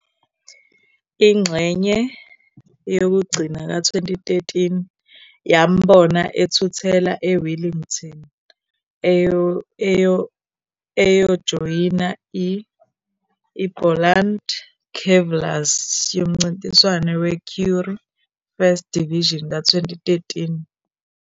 Ingxenye yokugcina ka-2013 yambona ethuthela eWellington eyojoyina i- IBoland Cavaliers yomncintiswano weCurrie Cup First Division ka-2013.